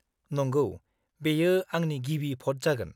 -नंगौ, बेयो आंनि गिबि भ'ट जागोन।